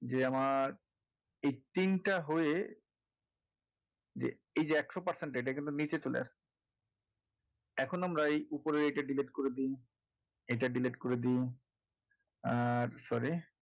যে মার্ এই তিনটে হয়ে যে এই যে একশো percent টা এটা কিন্তু নিচে চলে এসেছে এখন আমরা এই ওপরের এইটা delete করে দিই এটা delete করে দিই আর sorry